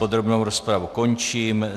Podrobnou rozpravu končím.